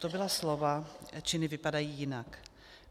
To byla slova, činy vypadají jinak.